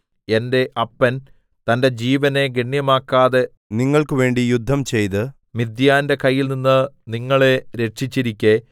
എന്റെ അപ്പൻ തന്റെ ജീവനെ ഗണ്യമാക്കാതെ നിങ്ങൾക്ക് വേണ്ടി യുദ്ധം ചെയ്ത് മിദ്യാന്റെ കയ്യിൽനിന്ന് നിങ്ങളെ രക്ഷിച്ചിരിക്കെ